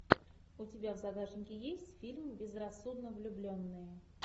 у тебя в загашнике есть фильм безрассудно влюбленные